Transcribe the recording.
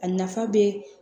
A nafa be